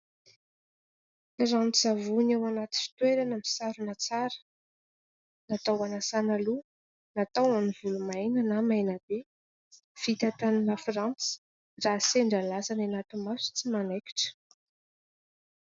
Rano-tsavony ao anaty fitoerana, misarona tsara, natao hanasala loha natao ho an'ny volo maina na maina be. Natao tany frantsa raha sendra lasa any anaty maso tsy manaikitra.